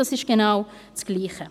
Das ist genau dasselbe.